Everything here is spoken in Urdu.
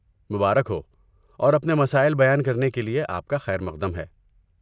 مبارک ہو اور اپنے مسائل بیان کرنے کے لیے آپ کا خیر مقدم ہے۔